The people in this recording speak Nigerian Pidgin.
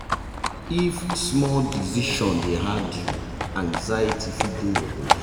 if small decision dey hard you anxiety fit dey your body.